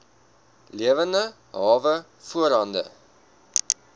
lewende hawe voorhande